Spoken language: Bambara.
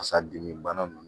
Fasa dimi bana nunnu